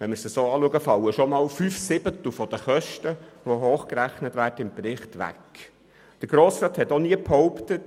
Wenn man das in Betracht zieht, fallen bereits fünf Siebtel der Kosten, welche im Bericht aufgeführt sind, weg.